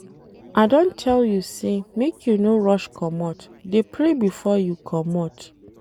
I don tell you sey make you no rush comot, dey pray before you comot.